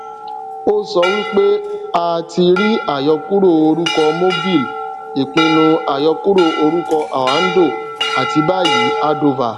ó sọ wípé a ti rí àyọkúrò orúkọ mobil ìpinnu àyọkúrò orúkọ oando àti báyìí ardova